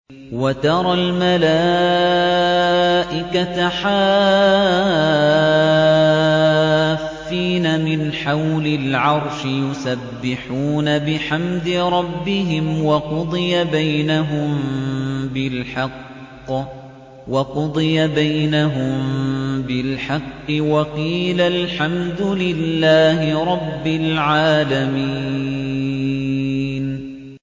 وَتَرَى الْمَلَائِكَةَ حَافِّينَ مِنْ حَوْلِ الْعَرْشِ يُسَبِّحُونَ بِحَمْدِ رَبِّهِمْ ۖ وَقُضِيَ بَيْنَهُم بِالْحَقِّ وَقِيلَ الْحَمْدُ لِلَّهِ رَبِّ الْعَالَمِينَ